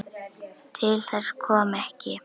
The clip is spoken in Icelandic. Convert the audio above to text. Til þess kom ekki.